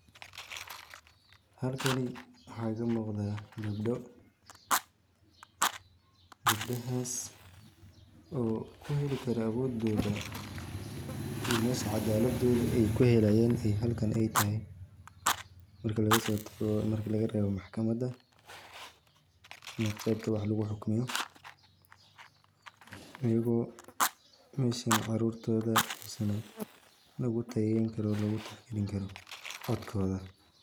Halkani waxa ka muqda gebdo. Gebdahaas oo ku heli kara awood dooda iyo isaga caleeb dooda ay ku helayeen ay halkan ay tahay. Marka laga soo tago marka laga reebo maxkamadda siinaysan qeyb ka waa xal ku xukmayo. ayeyguu meshaan carurtoda misano lagu tayeekan karo lagu taag galin karo codkooda.